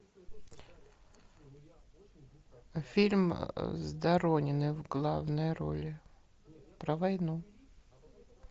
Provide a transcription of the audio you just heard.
фильм с дорониной в главной роли про войну